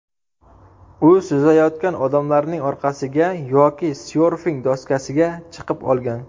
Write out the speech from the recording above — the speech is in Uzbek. U suzayotgan odamlarning orqasiga yoki syorfing doskasiga chiqib olgan.